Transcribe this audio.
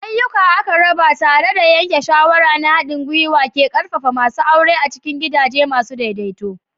Ayuka aka raba tare da yanke shawara na haɗin gwiwa ke ƙarfafa masu awre a cikin gidaje masu daidaito.